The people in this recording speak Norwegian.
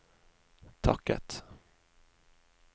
takket